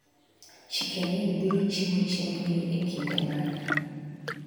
Chicken Inn biro chiwo chiembgi e kinde mane?